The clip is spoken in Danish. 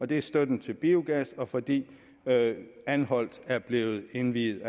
det er støtten til biogas og fordi anholt er blevet indviet